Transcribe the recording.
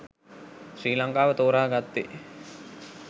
ශ්‍රී ලංකාව තෝරා ගත්තේ